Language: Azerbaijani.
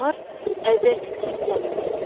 Onlar əvvəlki kimi səmimi idilər.